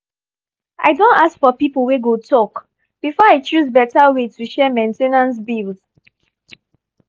i don ask for people wey go talk before i choose betta way to share main ten ance bills.